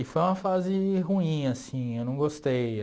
E foi uma fase ruim, assim, eu não gostei.